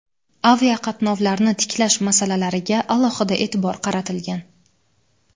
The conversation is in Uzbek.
aviaqatnovlarni tiklash masalalariga alohida e’tibor qaratilgan.